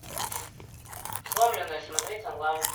сломленные смотреть онлайн